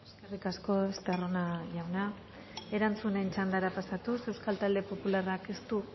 eskerrik asko estarrona jauna erantzunen txandara pasatuz euskal talde popularrak ez du